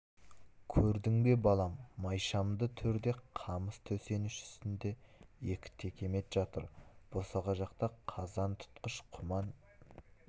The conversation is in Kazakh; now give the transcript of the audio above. көрдің бе балам майшамды төрде қамыс төсеніш үстінде екі текемет жатыр босаға жақта қазан тұтқыш құман